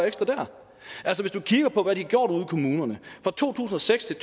ekstra der altså du kan kigge på hvad de har gjort ude i kommunerne fra to tusind og seks til